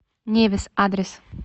невис адрес